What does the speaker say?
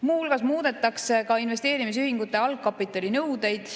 Muu hulgas muudetakse investeerimisühingute algkapitalinõudeid.